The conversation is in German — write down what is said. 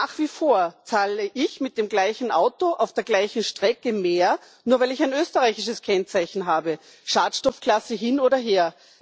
Nach wie vor zahle ich mit dem gleichen Auto auf der gleichen Strecke mehr, nur weil ich ein österreichisches Kennzeichen habe, Schadstoffklasse hin oder her.